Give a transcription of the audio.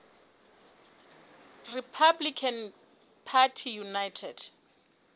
republican party united